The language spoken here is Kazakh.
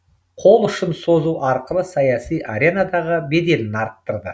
қол ұшын созу арқылы саяси аренадағы беделін арттырды